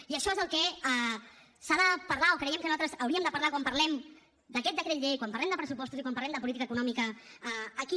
i això és el que s’ha de parlar o creiem que nosaltres hauríem de parlar quan parlem d’aquest decret llei quan parlem de pressupostos i quan parlem de política econòmica aquí